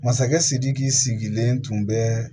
Masakɛ sidiki sigilen tun bɛ